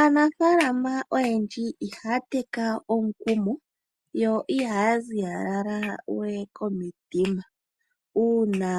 Aanafalama oyendji ihaya teka omukumo yo ihaya zilalawe komitima, uuna